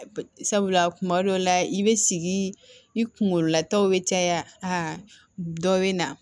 Sabula kuma dɔw la i be sigi i kunkolo lataw be caya a dɔ be na